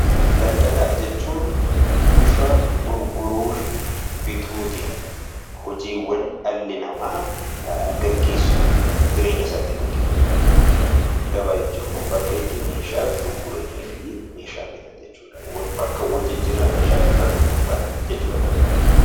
Daldalaa jechuun bifa gurguruu fi bituu tiin hojiiwwan dhalli namaa geggeessu, jireenya isaa ittiin geggeeffachuu danda'u jechuu dha. Gabaa jechuun immoo bakka itti meeshaa gurguranii fi meeshaa bitan jechuu dha. Bakka wal jijjiirraa meeshaa bittaaf gurgurtaa jechuu dha 'Gabaa' jechuun.